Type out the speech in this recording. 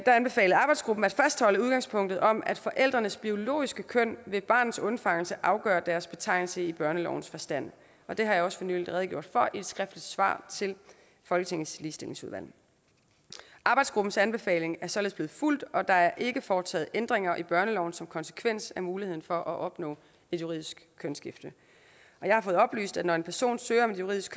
der anbefalede arbejdsgruppen at fastholde udgangspunktet om at forældrenes biologiske køn ved barnets undfangelse afgør deres betegnelse i børnelovens forstand og det har jeg også for nylig redegjort for i et skriftligt svar til folketingets ligestillingsudvalg arbejdsgruppens anbefaling er således blevet fulgt og der er ikke foretaget ændringer i børneloven som konsekvens af muligheden for at opnå et juridisk kønsskifte jeg har fået oplyst at når en person søger om et juridisk